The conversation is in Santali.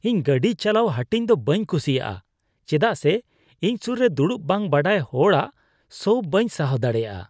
ᱤᱧ ᱜᱟᱹᱰᱤ ᱪᱟᱞᱟᱣ ᱦᱟᱹᱴᱤᱧ ᱫᱚ ᱵᱟᱹᱧ ᱠᱩᱥᱤᱭᱟᱜᱼᱟ ᱪᱮᱫᱟᱜ ᱥᱮ ᱤᱧ ᱥᱩᱨ ᱨᱮ ᱫᱩᱲᱩᱵ ᱵᱟᱝ ᱵᱟᱰᱟᱭ ᱦᱚᱲᱟᱜ ᱥᱚ ᱵᱟᱧ ᱥᱟᱦᱟᱣ ᱫᱟᱲᱮᱭᱟᱜᱼᱟ ᱾